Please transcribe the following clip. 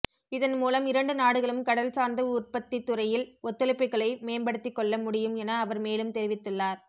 இதன்மூலம் இரண்டு நாடுகளும் கடல்சார்ந்த உற்பத்தித்துறையில் ஒத்துழைப்புக்களை மேம்படுத்திக்கொள்ள முடியும் என அவர் மேலும் தெரிவித்துள்ளார்